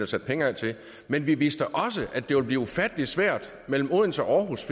sat penge af til men vi vidste også at det ville blive ufattelig svært mellem odense og aarhus